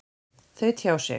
Þau tjá sig.